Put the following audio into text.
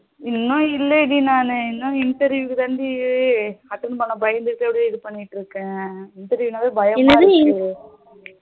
இன்னும் இல்ல டி நானு இன்னும் interview க்கு தாண்டி attend பண்ண பயந்துட்டு அப்படியே இது பண்ணிட்டு இருக்கேன் interview நாளே பயமா இருக்கு.